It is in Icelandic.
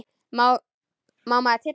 Má maður tylla sér?